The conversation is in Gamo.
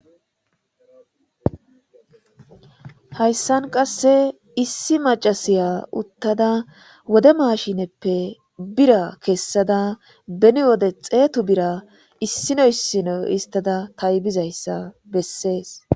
hayssan qasse issi macasiya uttada wode maashineppe bira kessada beni wode xeetu bira issino issino istada taybizayssa bessees